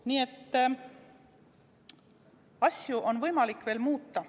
Nii et asju on võimalik veel muuta.